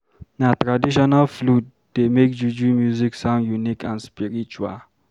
Na traditional flute dey make Juju music sound unique and spiritual.